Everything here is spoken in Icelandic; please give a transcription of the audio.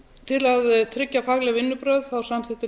til að tryggja fagleg vinnubrögð samþykkti